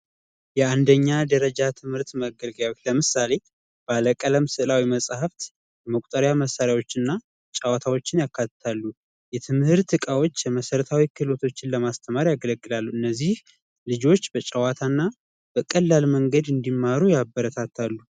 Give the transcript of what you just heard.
የአንደኛ ደረጃ ትምህርት መገልገያዎች ለምሳሌ ባለቀለም መጽሐፍት፣ መቁጠሪያና፣ መሳሪያዎችንና ጨዋታዎችን ያካትታሉ። የትምህርት እቃዎች የመሰረታዊ ትምህርትን ለማስተማር ያገለግላሉ። እነዚህ ልጆች በጨዋታና በቀላል መንገድ እንዲማሩ ያበረታታል።